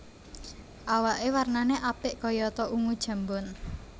Awaké warnané apik kayata ungu jambon